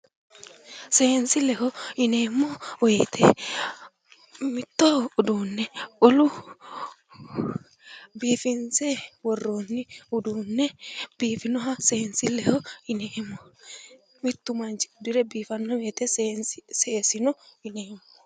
Seensilleho yineemmo woyite mitto uduunne wolu biifinse worroonni uduunne biifinoha seensilleho yineemmo. Mittu manchi uddire biifanno woyite seesino yineemmo.